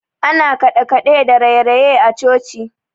Ana kaɗekaɗe da rayeraye a coci.